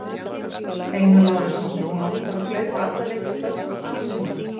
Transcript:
Einar Lárusson: Má ekki bara flauta alla leiki kvöldsins af núna?